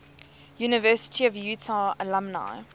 university of utah alumni